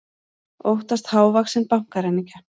Óttast hávaxinn bankaræningja